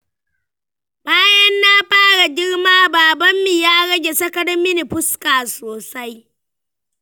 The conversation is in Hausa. Bayan na fara girma, babanmu ya rage sakar mini fuska sosai.